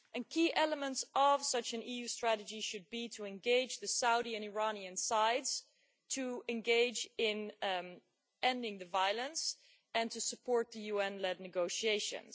Key elements of such an EU strategy should be to engage the Saudi and Iranian sides, to engage in ending the violence and to support the UN led negotiations.